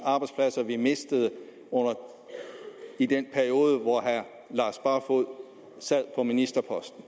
arbejdspladser vi mistede i den periode hvor herre lars barfoed sad på ministerposten